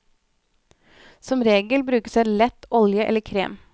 Som regel brukes en lett olje eller krem.